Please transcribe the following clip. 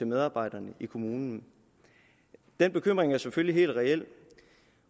medarbejderne i kommunen den bekymring er selvfølgelig helt reel